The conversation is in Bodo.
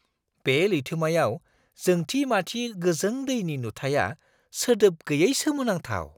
बे लैथोमायाव जोंथि-माथि गोजों दैनि नुथाइया सोदोब गैयै सोमोनांथाव!